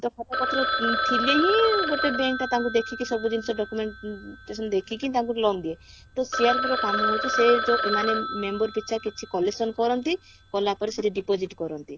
ତ ଖାତା ପତ୍ର ଥିଲେ ହିଁ ଗୋଟେ bank ରେ ତାଙ୍କୁ ଦେଖିକି ସବୁ ଜିନିଷ documentation ଦେଖିକି ତାଙ୍କୁ loan ଦିଏ ତ CRP ର କାମ ହଉଛି ସେ ଯାଉ ମାନେ member ପିଛା କିଛି collection କରନ୍ତି କଲାପରେ ସେଠି deposit କରନ୍ତି